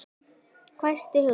hvæsti Hugrún.